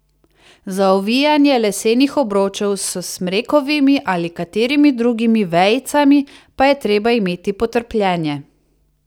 Za ovijanje lesenih obročev s smrekovimi ali katerimi drugimi vejicami pa je treba imeti potrpljenje.